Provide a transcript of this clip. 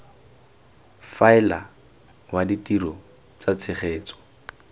faela wa ditiro tsa tshegetso